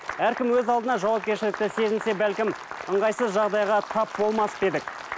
әркім өз алдына жауапкершілікті сезінсе бәлкім ыңғайсыз жағдайға тап болмас па едік